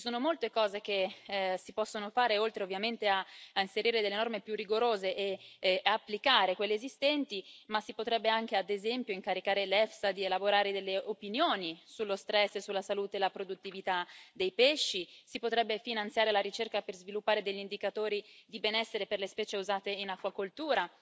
Ci sono molte cose che si possono fare, oltre ovviamente a inserire delle norme più rigorose e applicare quelle esistenti si potrebbe anche, ad esempio, incaricare l'EFSA di elaborare pareri sullo stress e sulla salute e la produttività dei pesci, si potrebbe finanziare la ricerca per sviluppare degli indicatori di benessere per le specie usate in acquacoltura